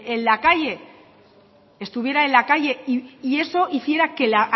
en la calle estuviera en la calle y eso hiciera que la